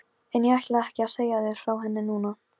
Feginn að komast út undir bert loft.